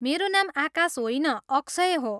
मेरो नाम आकाश होइन, अक्षय हो।